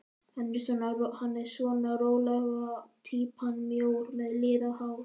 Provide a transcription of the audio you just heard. Hann er svona rólega týpan, mjór með liðað hár.